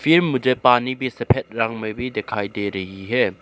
ये मुझे पानी भी सफेद रंग में भी दिखाई दे रही है।